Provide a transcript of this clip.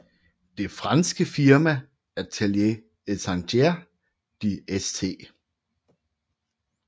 Det franske firma Atelier et Chantiers de St